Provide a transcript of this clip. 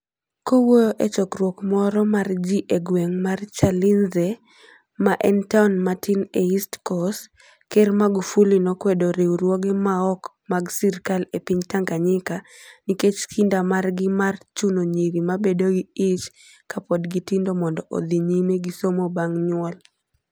Kowuoyo e chokruok moro mar ji e gweng ' mar Chalinze, ma en taon matin e East Coast, Ker Magufuli nokwedo riwruoge maok mag sirkal e piny Tanganyika nikech kinda margi mar chuno nyiri ma bedo gi ich ka pod gitindo mondo odhi nyime gi somo bang ' nyuol: